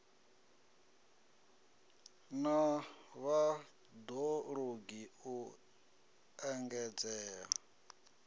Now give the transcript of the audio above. na vhad ologi u engedzea